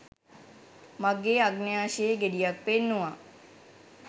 මගේ අගන්‍යාශයේ ගෙඩියක් පෙන්නුවා